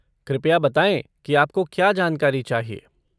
कृपया बताएँ कि आपको क्या जानकारी चाहिए।